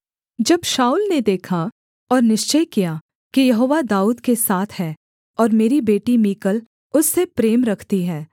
जब शाऊल ने देखा और निश्चय किया कि यहोवा दाऊद के साथ है और मेरी बेटी मीकल उससे प्रेम रखती है